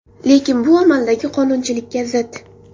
Lekin bu amaldagi qonunchilikka zid.